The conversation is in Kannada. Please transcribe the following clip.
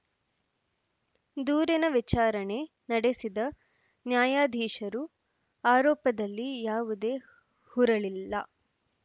ದೂರಿನ ವಿಚಾರಣೆ ನಡೆಸಿದ ನ್ಯಾಯಾಧೀಶರು ಆರೋಪದಲ್ಲಿ ಯಾವುದೇ ಹುರಳಿಲ್ಲ